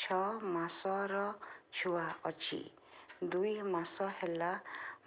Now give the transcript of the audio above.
ଛଅ ମାସର ଛୁଆ ଅଛି ଦୁଇ ମାସ ହେଲା